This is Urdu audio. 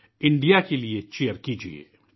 بھارت کے لئے چیئر کریئے